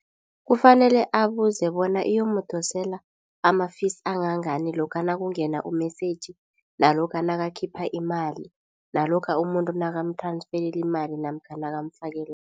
Kufanele abuze bona iyomudosela ama- fees angangani lokha nakungena u-messa ge nalokha nakakhipha imali. Nalokha umuntu nakam-transferela imali namkha nakamfakela